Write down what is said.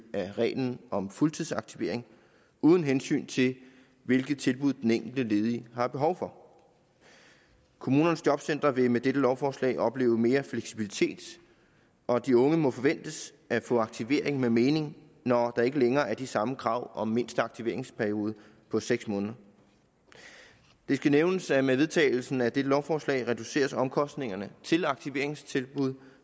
af reglen om fuldtidsaktivering uden hensyn til hvilke tilbud den enkelte ledige har behov for kommunernes jobcentre vil med dette lovforslag opleve mere fleksibilitet og de unge må forventes at få aktivering med mening når der ikke længere er de samme krav om mindste aktiveringsperioden på seks måneder det skal nævnes at med vedtagelsen af dette lovforslag reduceres omkostningerne til aktiveringstilbud